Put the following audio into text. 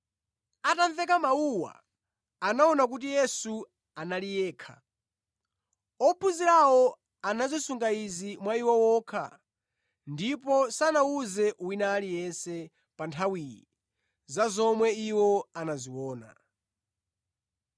Atamveka mawuwa, anaona kuti Yesu anali yekha. Ophunzirawo anazisunga izi mwa iwo okha ndipo sanawuze wina aliyense pa nthawiyi za zomwe iwo anaziona.